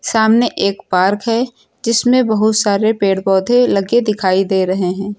सामने एक पार्क है जिसमें बहुत सारे पेड़ पौधे लगे दिखाई दे रहे है।